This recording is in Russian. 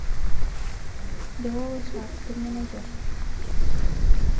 лиловый шар ты мне найдешь